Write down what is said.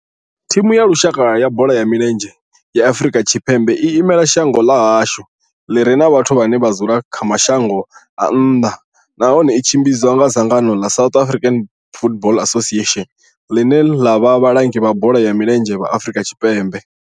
Thimu ya lushaka ya bola ya milenzhe ya Afrika Tshipembe i imela shango ḽa hashu ḽi re na vhathu vhane vha dzula kha mashango a nnḓa nahone tshi tshimbidzwa nga dzangano ḽa South African Football Association, ḽine ḽa vha vhalangi vha bola ya milenzhe Afrika Tshipembe.